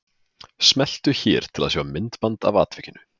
Smeltu hér til að sjá myndband af atvikinu